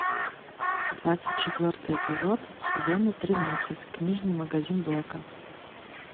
двадцать четвертый эпизод сезона тринадцать книжный магазин блэка